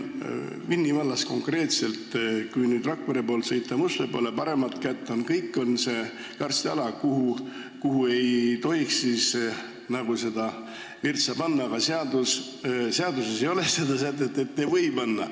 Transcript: Vinni vallas, kui Rakvere poolt sõita Mustvee poole, siis paremat kätt jääb suur karstiala, kuhu ei tohiks virtsa panna, aga seaduses ei ole sätet, et ei või panna.